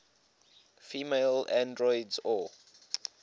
female androids or